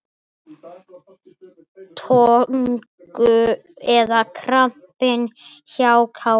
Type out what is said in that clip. Tognun eða krampi hjá Kára?